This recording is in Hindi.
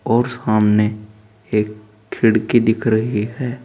और सामने एक खिड़की दिख रही है।